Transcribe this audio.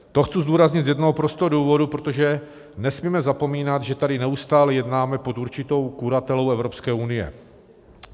To chci zdůraznit z jednoho prostého důvodu, protože nesmíme zapomínat, že tady neustále jednáme pod určitou kuratelou Evropské unie.